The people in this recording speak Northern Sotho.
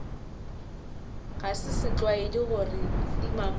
ga se setlwaedi gore timamello